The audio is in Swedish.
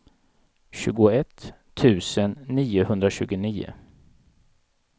tjugoett tusen niohundratjugonio